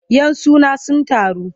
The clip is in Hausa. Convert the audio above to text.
Yan suna sun taru.